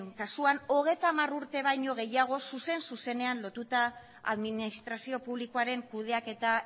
kasuan hogeita hamar urte baino gehiago zuzen zuzenean lotuta administrazio publikoaren kudeaketa